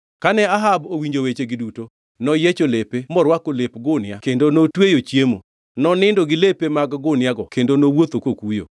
Kane Ahab owinjo wechegi duto, noyiecho lepe, morwako lep gunia kendo notweyo chiemo. Nonindo gi lepe mag guniago kendo nowuotho kokuyo.